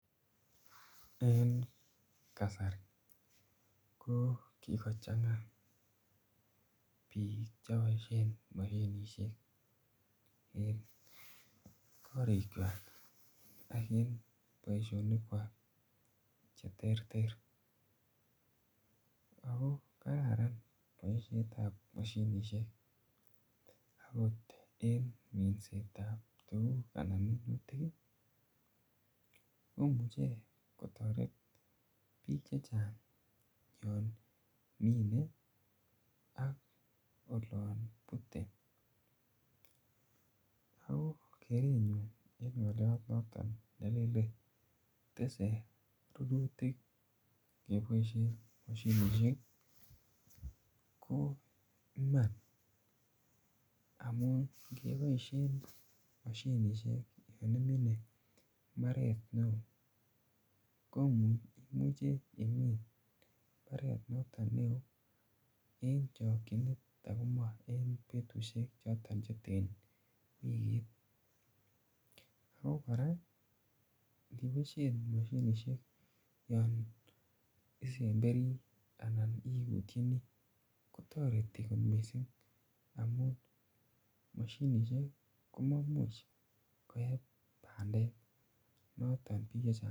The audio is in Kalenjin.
Eng' kasari ko kikochang'a piik che paishen mosinisiek eng' korichwak ak en poishonikwak che terter. Ako kararan poishet ap mashinishek akot en minset ap tuguk anan minutik i, komuche kptaret piik che chang' yan mine ak olan pute. Ako en kerenyun ne apwaten le le tese rurutik kepaishen mosinisiek. Ko iman amun ngepaishen mosinisiek one mine mbaret neo, ko imuche imin mbaret notok neo eng' chakchinet ako ma en petushek choton che ten wikit. Ako kora ngipaishen mosinisiek yan isemberi anan iutchini , ko tareti kot missing' amun mosinisiek komamuch koyai pandek.